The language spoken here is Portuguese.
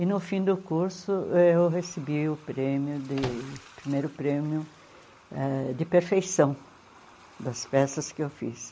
E no fim do curso, eu recebi o prêmio de, o primeiro prêmio ãh de perfeição das peças que eu fiz.